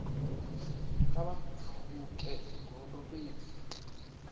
kha vha pfuke gondo fhedzi